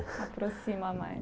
Se aproxima mais.